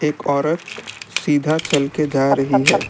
एक औरत सीधा चल के जा रही है।